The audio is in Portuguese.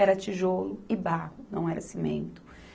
era tijolo e barro, não era cimento.